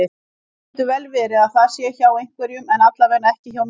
Það getur vel verið að það sé hjá einhverjum en allavega ekki hjá mér.